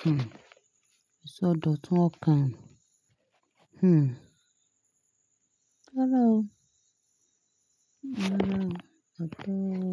Hmm, ìṣọ̀dọ̀ tun ọkàn. Hmm. Rárá o. Rárá, adé o.